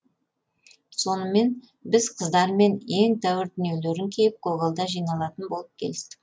сонымен біз қыздармен ең тәуір дүниелерін киіп көгалда жиналатын болып келістік